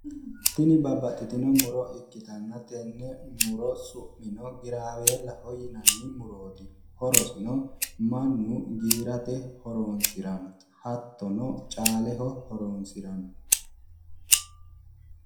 tini babbaxxitno muro ikkitanna tenne muro su'mino giraweeellaho yinanni murooti horosino mannu giirate hattono caaleho horonsiranno